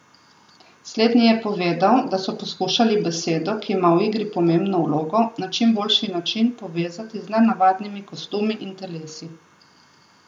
Slednji je povedal, da so poskušali besedo, ki ima v igri pomembno vlogo, na čim boljši način povezati z nenavadnimi kostumi in telesi.